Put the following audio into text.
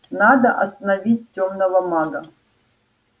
надо остановить тёмного мага